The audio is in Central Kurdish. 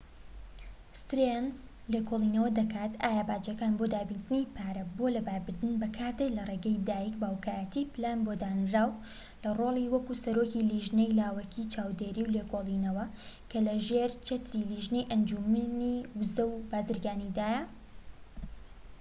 ستێرنس لێکۆڵینەوە دەکات ئایا باجەکان بۆ دابینکردنی پارە بۆ لەباربردن بەکاردێن لە ڕێگەی دایک/باوکایەتی پلان بۆ دانراو لە ڕۆلی وەک سەرۆکی لێژنەی لاوەکی چاودێری و لێکۆڵینەوە، کە لە ژێر چەتری لێژنەی ئەنجومەنی ووزە و بازرگانیدایە